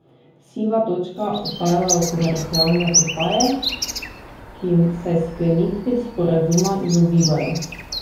Siva točka ostajajo komercialne postaje, ki se sklenitvi sporazuma izogibajo.